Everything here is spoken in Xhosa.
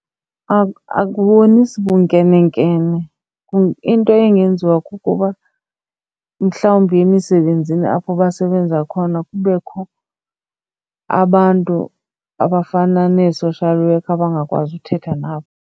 Akubonisi bunkenenkene. Into engenziwa kukuba mhlawumbi emisebenzini apho basebenza khona kubekho abantu abafana nee-social worker abangakwazi uthetha nabo.